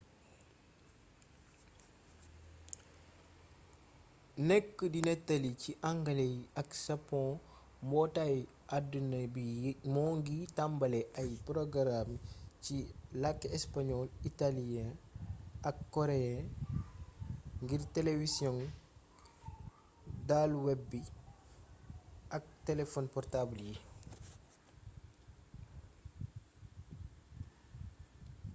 nekk di nettali ci angale ak sapoŋ mbootaay addina bi moo ngi tambale ay porogaraam ci làkki español itaaliyee ak koreyee ngir telewisiyoŋ daluweb bi ak telefon portaabal yi